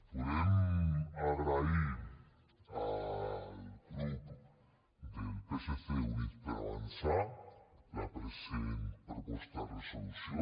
volem agrair al grup del psc i units per avançar la present proposta de resolució